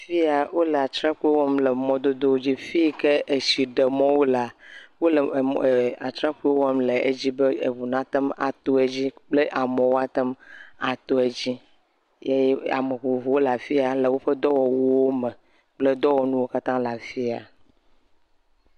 Fi yaw ole atrakpui wɔm le mɔdodowo dzi, fi yike etsi ɖe mɔwo lea, wole atrakpui wɔm le edzi be eŋu natem ato dzi kple amewo natem ato edzi.